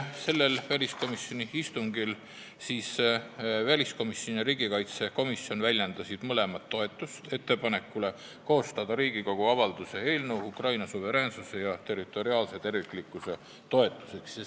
Sellel istungil väljendasid väliskomisjon ja riigikaitsekomisjon mõlemad toetust ettepanekule koostada Riigikogu avalduse "Ukraina suveräänsuse ja territoriaalse terviklikkuse toetuseks" eelnõu.